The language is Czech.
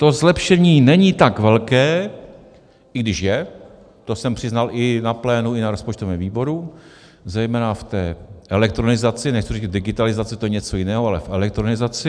To zlepšení není tak velké, i když je, to jsem přiznal i na plénu, i na rozpočtovém výboru, zejména v té elektronizaci, nechci říct digitalizaci, to je něco jiného, ale v elektronizaci.